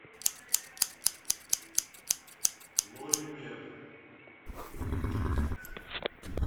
лоримед